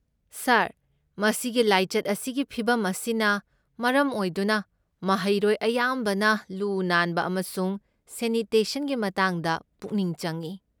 ꯁꯥꯔ, ꯃꯁꯤꯒꯤ ꯂꯥꯏꯆꯠ ꯑꯁꯤꯒꯤ ꯐꯤꯚꯝ ꯑꯁꯤꯅ ꯃꯔꯝ ꯑꯣꯏꯗꯨꯅ ꯃꯍꯩꯔꯣꯏ ꯑꯌꯥꯝꯕꯅ ꯂꯨ ꯅꯥꯟꯕ ꯑꯃꯁꯨꯡ ꯁꯦꯅꯤꯇꯦꯁꯟꯒꯤ ꯃꯇꯥꯡꯗ ꯄꯨꯛꯅꯤꯡ ꯆꯪꯢ꯫